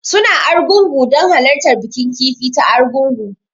Suna Argungu don halartar bikin kifi ta Argungu